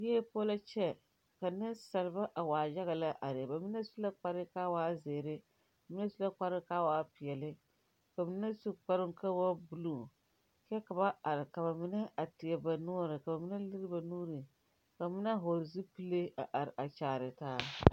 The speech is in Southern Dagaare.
Yie poɔ la kyɛ ka neŋsalba a waa yaga lɛ are ba mine su la kparre kaa waa zeere mine su la kparre kaa waa peɛɛle ba mine su kparoo kaa waa bluu kyɛ ka ba are ka ba mine teɛ ba noɔre ka ba mine lire ba nuure mine vɔɔle zupile a are a kyaare taa